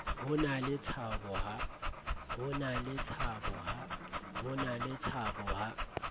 ho na le tshabo ha